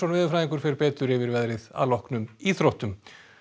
veðurfræðingur fer betur yfir veðrið að loknum íþróttum